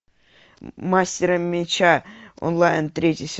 мастер меча онлайн третий сезон